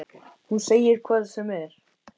Hún segir hvað sem er.